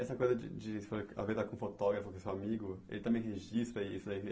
Essa coisa de de, você falou a vez de estar com o fotógrafo, com o seu amigo, ele também registra isso, ele...